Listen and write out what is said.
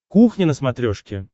кухня на смотрешке